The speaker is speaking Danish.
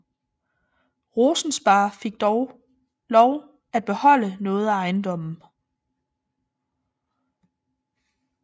Rosensparre fik dog lov at beholde noget af ejendommen